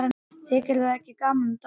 Þykir þér ekki gaman að dansa?